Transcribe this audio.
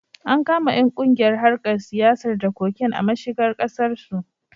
An kama ƴan kungiyar harkar siyar da cocaine a mashigar Kasar su